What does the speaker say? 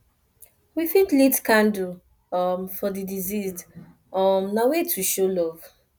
we fit light candle um for di deceased um na way to show love